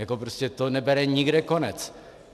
Jako prostě to nebere nikde konec.